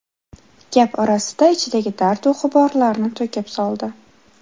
Gap orasida ichidagi dardu g‘uborlarni to‘kib soldi.